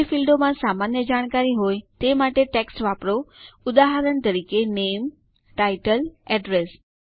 જે ફીલ્ડોમાં સામાન્ય જાણકારી હોય તે માટે ટેક્સ્ટ વાપરો ઉદાહરણ તરીકે નામે ટાઇટલ એડ્રેસ